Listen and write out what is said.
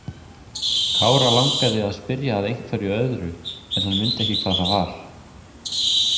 Kára langaði að spyrja að einhverju öðru en mundi ekki hvað það var.